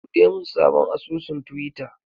Buɗe mun sabon asusun twitter!